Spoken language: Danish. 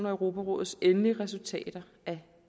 og europarådets endelige resultater af